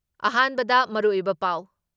ꯑꯍꯥꯟꯕꯗ ꯃꯔꯨꯑꯣꯏꯕ ꯄꯥꯎ ꯫